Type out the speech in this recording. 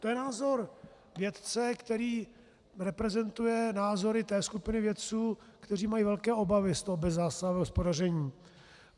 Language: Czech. To je názor vědce, který reprezentuje názory té skupiny vědců, kteří mají velké obavy z toho bezzásahového hospodaření.